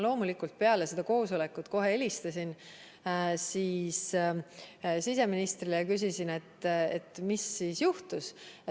Loomulikult, peale seda koosolekut ma kohe helistasin siseministrile ja küsisin, mis juhtus.